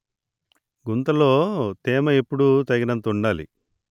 గుంతలో తేమ ఎప్పుడూ తగినంత ఉండాలి